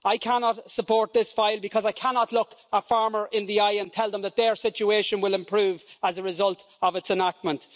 I cannot support this proposal because I cannot look farmers in the eye and tell them that their situation will improve as a result of its enactment.